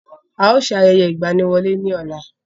A ó ṣe ayẹyẹ ìgbaniwọlé ní ọ̀la.